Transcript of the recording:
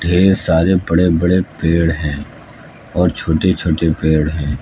ढेर सारे बड़े बड़े पेड़ हैं और छोटे छोटे पेड़ है।